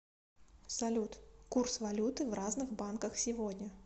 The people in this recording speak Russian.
салют курс валюты в разных банках сегодня